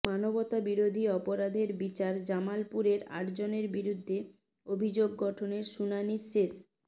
মানবতাবিরোধী অপরাধের বিচার জামালপুরের আটজনের বিরুদ্ধে অভিযোগ গঠনের শুনানি শেষ